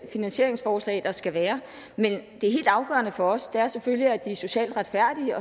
finansieringsforslag der skal være men det helt afgørende for os er selvfølgelig at de er socialt retfærdige